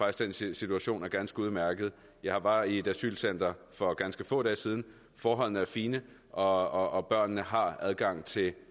at den situation er ganske udmærket jeg var i et asylcenter for ganske få dage siden forholdene er fine og og børnene har adgang til